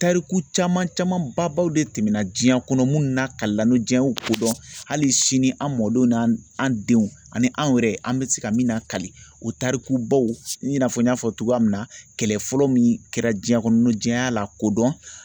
Tariku caman camanbaw de tɛmɛna diɲɛ kɔnɔ minnu lakalila diɲɛ kodɔn hali sini an mɔdenw n'an denw ani anw yɛrɛ an bɛ se ka min lakali o tarikubaw i n'a fɔ n y'a fɔ cogoya min na kɛlɛ fɔlɔ min kɛra diɲɛ kɔnɔ diɲɛ y'a lakodɔn